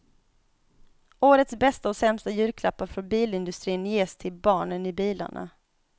Årets bästa och sämsta julklappar från bilindustrin ges till barnen i bilarna.